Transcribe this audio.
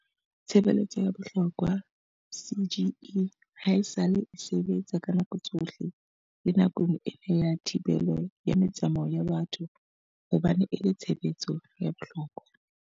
Tshebeletso ya bohlokwa CGE haesale e sebetsa ka nako tsohle le nakong ena ya thibelo ya metsamao ya batho hobane e le tshebe letso ya bohlokwa.